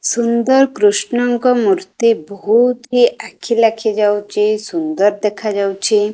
ସୁନ୍ଦର କୃଷ୍ଣଙ୍କ ମୂର୍ତ୍ତି ବହୁତି ଆଖି ଲାଖି ଯାଉଚି ସୁନ୍ଦର ଦେଖା ଯାଉଚି।